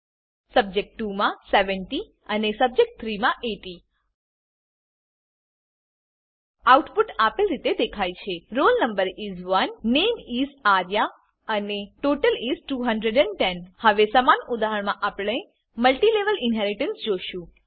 subject 2 માં 70 અને subject 3 માં 80 આઉટપુટ આપેલ રીતે દેખાય છે રોલ નો is 1 નામે is આર્યા અને ટોટલ is 210 હવે સમાન ઉદાહરણમાં આપણે મલ્ટીલેવલ ઇનહેરીટન્સ જોશું